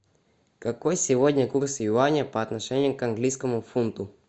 какой сегодня курс юаня по отношению к английскому фунту